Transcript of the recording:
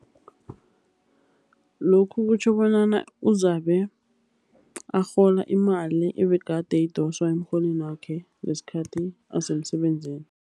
Lokhu kutjho bonyana uzabe arhola imali ebegade idoswa emrholweni wakhe, ngesikhathi asemsebenzini.